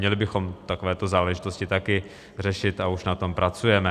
Měli bychom takovéto záležitosti taky řešit, a už na tom pracujeme.